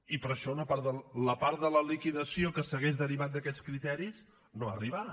i per això la part de la liquidació que s’hauria derivat d’aquests criteris no ha arribat